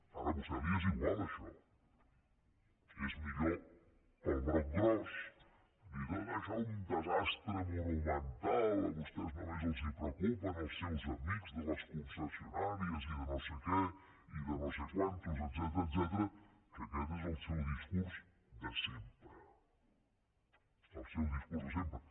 ara a vostè li és igual això és millor pel broc gros dir tot això un desastre monumental a vostès només els preocupen els seus amics de les concessionàries i de no sé què i de no sé quants etcètera que aquest és el seu discurs de sempre el seu discurs de sempre